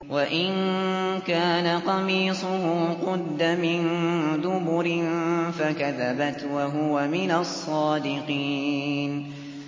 وَإِن كَانَ قَمِيصُهُ قُدَّ مِن دُبُرٍ فَكَذَبَتْ وَهُوَ مِنَ الصَّادِقِينَ